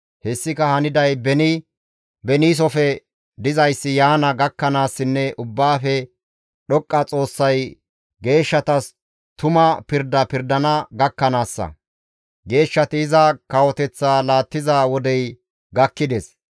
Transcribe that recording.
Hessika haniday beni beniisofe dizayssi yaana gakkanaassinne Ubbaafe Dhoqqa Xoossay geeshshatas tuma pirda pirdana gakkanaassa. Geeshshati iza kawoteththa laattiza wodey gakkides.